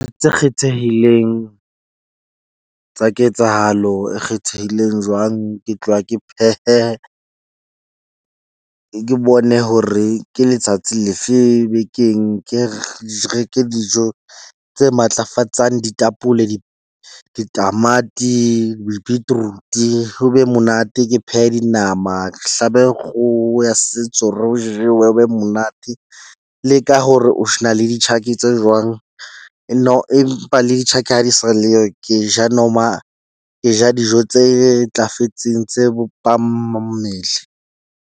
Tse kgethehileng tsa ketsahalo e kgethehileng jwang. Ke tloha ke phehe, ke bone hore ke letsatsi lefe bekeng ke reke dijo tse matlafatsang ditapole di ditamati, beetroot. Ho be monate, ke phehe dinama ke hlabe kgoho ya setso. Re o jewe ho be monate le ka hore o na le ditjhaki tse jwang. No. Empa le di ha di sa leyo. Ke ja noma ke ja dijo tse ntlafetseng tse .